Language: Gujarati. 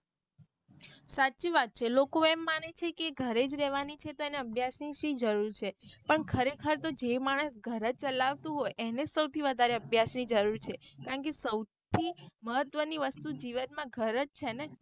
સાચી વાત છે લોકો એમ મને છે કે એ ઘરે જ રેહવાની છે તો એને અભ્યાસ ની સી જરૂર છે પણ ખરે ખર તો જે માણસ ઘર ચલાવતું હોય એને એનેજ સૌથી વધારે અભ્યાસ ની જરૂર છે કારણ કે સૌથી મહત્વ ની વસ્તુ જીવન માં ઘર જ છેને.